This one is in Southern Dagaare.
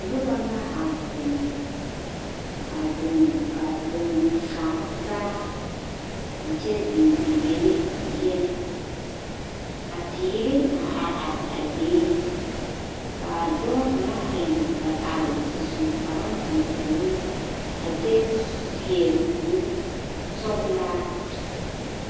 Noba la a zeŋ a zeŋ a zeŋ kaara taa a kyɛ zeŋ a yele yɛlɛ ka teere a are are a be ka a dɔɔ kaŋ a iri a are su kparoo tɛmpɛloŋ a kyɛ seɛ kurisɔglaa.